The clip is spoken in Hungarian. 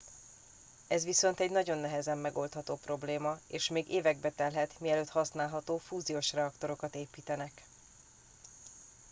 ez viszont egy nagyon nehezen megoldható probléma és még évekbe telhet mielőtt használható fúziós reaktorokat építenek